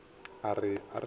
a re a re ye